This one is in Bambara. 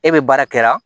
E be baara kɛra